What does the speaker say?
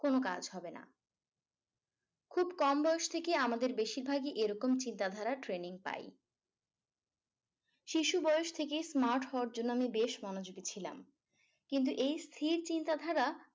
কোনো কাজ হবেনা খুব কম বয়স থেকে আমাদের বেশিরভাগই এরকম চিন্তাধারার training পাই শিশু বয়স থেকেই smart হওয়ার জন্য আমি বেশ মনোযোগী ছিলাম কিন্তু এই স্থির চিন্তাধারা